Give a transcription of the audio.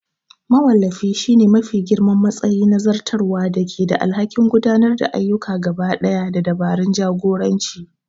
Mawallafi shine mafi girman matsayi na zartarwa da ke da alhakin gudanar da ayyuka gabaɗaya da dabarun jagoranci.